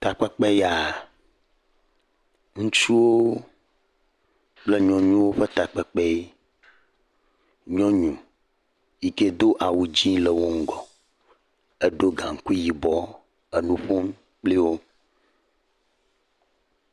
Takpekpe ya, ŋutsuwo kple nyɔnuwo ƒe takpekpe ye, nyɔnu yike do awu dzee le wo ŋgɔ, eɖo gaŋkui yibɔ, enu ƒom kpli wo.